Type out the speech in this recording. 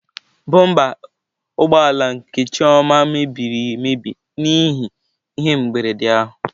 Bụmba ụgbọ ala nke Chioma mebiri emebi n'ihi ihe mberede ahụ.